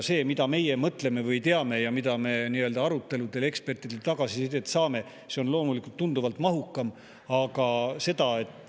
See, mida meie mõtleme või teame ja mis tagasisidet me aruteludel ekspertidelt saame, on loomulikult tunduvalt mahukam.